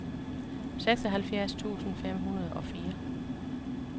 seksoghalvfjerds tusind fem hundrede og fire